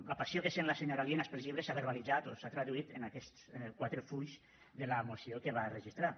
la passió que sent la senyora lienas pels llibres s’ha verbalitzat o s’ha traduït en aquests quatre fulls de la moció que va registrar